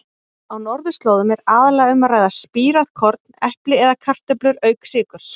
Á norðurslóðum er aðallega um að ræða spírað korn, epli eða kartöflur auk sykurs.